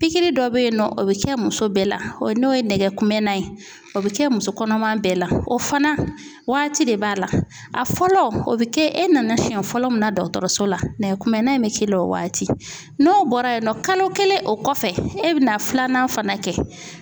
Pikiri dɔ bɛ yen nɔ o bɛ kɛ muso bɛɛ la o ye n'o ye nɛgɛ kumɛnna o bɛ kɛ muso kɔnɔma bɛɛ la o fana waati de b'a la a fɔlɔ o bɛ kɛ e nana siyɛn fɔlɔ min na dɔgɔtɔrɔso la nɛgɛ kunbɛnna in bɛ k'i la o waati n'o bɔra yen nɔ kalo kelen o kɔfɛ e bɛna filanan fana kɛ.